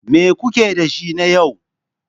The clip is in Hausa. Me kuke da shi na yau?